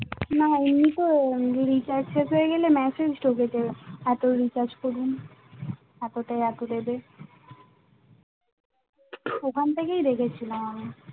না এমনি তো recharge শেষ হয়ে গেলে message ঢোকে এত recharge করুন এত তে এত দেবে ওখানে থেকেই দেখেছিলাম আমি